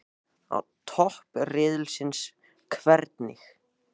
Á toppi riðilsins- hvernig?